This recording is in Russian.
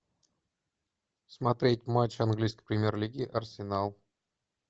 смотреть матч английской премьер лиги арсенал